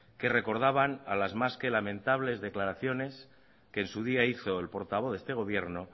que recordaban a las más que lamentables declaraciones que en su día hizo el portavoz de este gobierno